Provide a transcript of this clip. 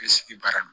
I bɛ sigi baara la